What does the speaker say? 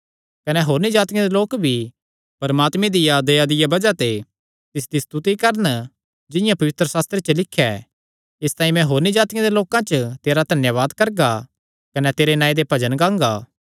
कने होरनी जातिआं दे लोक भी परमात्मे दिया दया दिया बज़ाह ते तिसदी स्तुति करन जिंआं पवित्रशास्त्रे च लिख्या ऐ इसतांई मैं होरनी जातिआं दे लोकां च तेरा धन्यावाद करगा कने तेरे नांऐ दे भजन गांगा